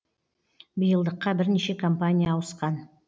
биылдыққа бірнеше компания ауысқан